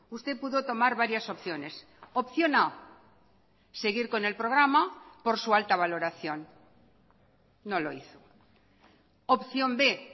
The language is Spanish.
usted pudo tomar varias opciones opción a seguir con el programa por su alta valoración no lo hizo opción b